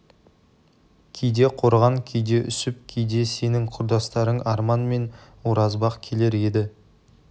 кейде қорған кейде үсіп кейде сенің құрдастарың арман мен оразбақ келер еді